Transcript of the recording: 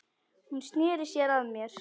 Hún sneri sér að mér.